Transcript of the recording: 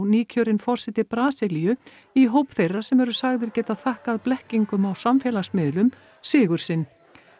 nýkjörinn forseti Brasilíu í hóp þeirra sem eru sagðir geta þakkað blekkingum á samfélagsmiðlum sigur sinn